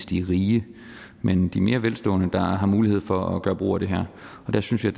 de rige men de mere velstående der har mulighed for at gøre brug af det her og der synes jeg